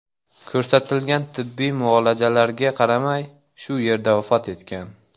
ko‘rsatilgan tibbiy muolajalarga qaramay, shu yerda vafot etgan.